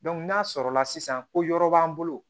n'a sɔrɔ la sisan ko yɔrɔ b'an bolo